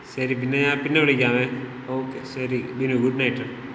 ശരി പിന്നെ ഞാൻ പിന്നെ വിളിക്കാവേ. ഓകെ, ശരി വിനു. ഗുഡ്നൈറ്റ്.